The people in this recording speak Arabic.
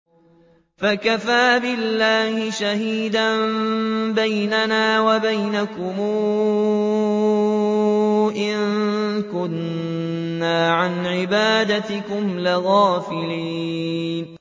فَكَفَىٰ بِاللَّهِ شَهِيدًا بَيْنَنَا وَبَيْنَكُمْ إِن كُنَّا عَنْ عِبَادَتِكُمْ لَغَافِلِينَ